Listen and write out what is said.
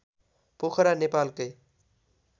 पोखरा नेपालकै